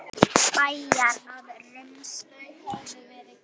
Bæjarar að rumska?